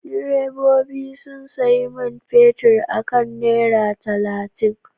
Direbobi sun sayi man fetur akan naira talatin.